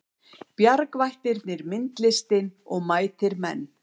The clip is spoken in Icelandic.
Bjargvættirnir myndlistin og mætir menn